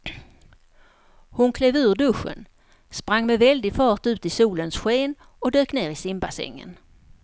Hon klev ur duschen, sprang med väldig fart ut i solens sken och dök ner i simbassängen.